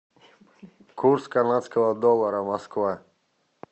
курс канадского доллара москва